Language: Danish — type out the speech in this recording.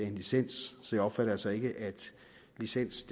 en licens så jeg opfatter altså ikke at licens